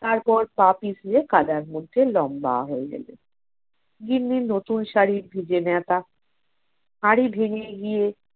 তারপর পা পিছলে কাদার মধ্যে লম্বা হয়ে গেলেন। গিন্নির নতুন শাড়ি ভিজে নেতা হাড়ি ভেঙে গিয়ে